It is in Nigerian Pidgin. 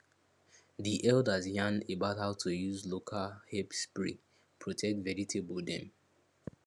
di elders yarn about how to use local herb spray protect vegetable dem